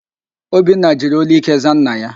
Obinna jiri ólú íké zaa nna ya.